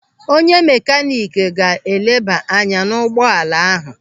Onye makanik ga-eleba anya n'ụgbọala ahu.